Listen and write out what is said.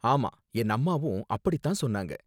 ஆமா, என் அம்மாவும் அப்படி தான் சொன்னாங்க.